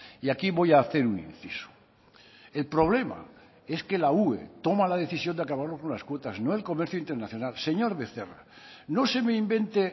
y aquí voy hacer un inciso el problema es que la ue toma la decisión de unas cuotas no el comercio internacional señor becerra no se me invente